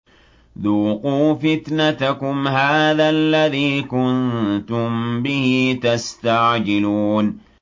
ذُوقُوا فِتْنَتَكُمْ هَٰذَا الَّذِي كُنتُم بِهِ تَسْتَعْجِلُونَ